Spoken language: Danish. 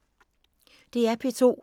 DR P2